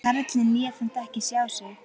Karlinn lét samt ekki sjá sig.